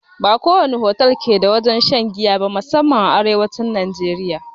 Ba ko wani otal ke da wurin shan giya ba, musanman a arewacin najeriya.